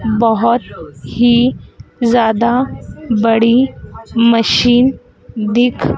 बहोत ही ज्यादा बड़ी मशीन दिख--